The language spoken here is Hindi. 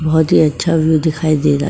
बहुत ही अच्छा व्यू दिखाई दे रहा है।